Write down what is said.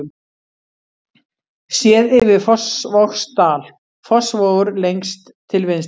Séð yfir Fossvogsdal, Fossvogur lengst til vinstri.